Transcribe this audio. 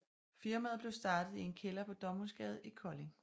Firmaet blev startet i en kælder på Domhusgade i Kolding